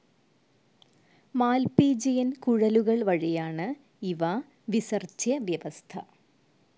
Malpighian കുഴലുകൾ വഴിയാണ് ഇവ വിസർജ്ജ്യ വ്യവസ്ഥ.